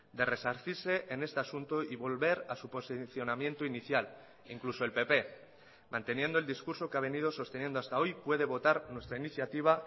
de resarcirse en este asunto y volver a su posicionamiento inicial incluso el pp manteniendo el discurso que ha venido sosteniendo hasta hoy puede votar nuestra iniciativa